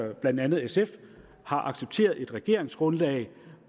at blandt andet sf har accepteret et regeringsgrundlag